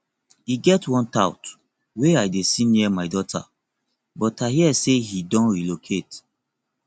e get one tout wey i dey see near my daughter but i hear say he don relocate